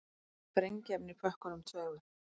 Sprengiefni í pökkunum tveimur